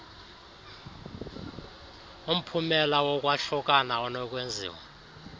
umphumela wokwahlukana onokwenziwa